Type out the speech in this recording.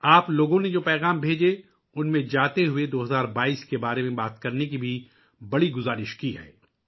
آپ لوگوں کے بھیجے گئے پیغامات کو دیکھتے ہوئے ، آپ نے 2022 ء کے بارے میں بات کرنے کو کہا ہے